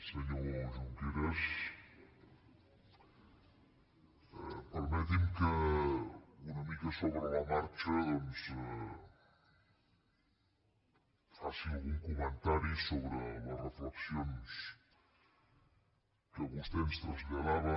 senyor junqueras permeti’m que una mica sobre la marxa doncs faci algun comentari sobre les reflexions que vostè ens traslladava